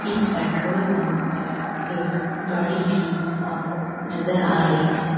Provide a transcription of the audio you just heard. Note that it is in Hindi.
इस पेट्रोल पंप पर एक गाड़ी भी आपको नज़र आ रही है।